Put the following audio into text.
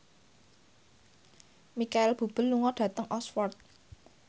Micheal Bubble lunga dhateng Oxford